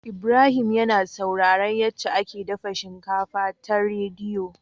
Ibrahim yAna saurara yace ake dafa shinkafa ta rediyo